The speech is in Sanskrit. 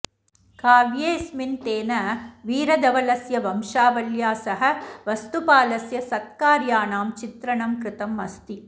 काव्येऽस्मिन्तेन वीरधवलस्य वंशावल्या सह वस्तुपालस्य सत्कार्याणां चित्रणं कृतमस्ति